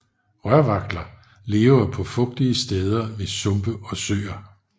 Rørvagtler lever på fugtige steder ved sumpe og søer